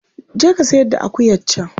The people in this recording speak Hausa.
Je ka sayar da akuyar can.